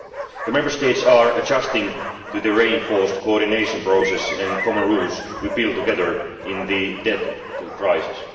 The Member States are adjusting to the reinforced coordination process and common rules we built together in the depths of the crisis.